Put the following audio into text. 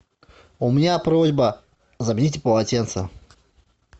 у меня просьба замените полотенце